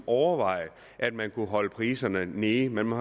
overvejet at man kunne holde priserne nede man må